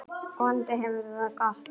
Vonandi hefur þú það gott.